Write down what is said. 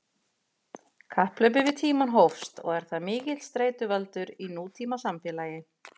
Kapphlaupið við tímann hófst og er það mikill streituvaldur í nútímasamfélagi.